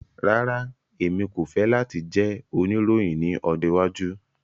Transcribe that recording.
Rara, Emi ko fẹ lati jẹ oniroyin ni ọjọ iwaju